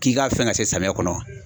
K'i ga fɛn ka se samiyɛ kɔnɔ